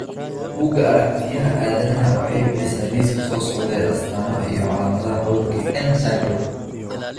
Buugga Aragtiyaha Aadanaha waxay bixisaa liiska soo socda ee astamaha iyo calaamadaha cudurka N syndrome.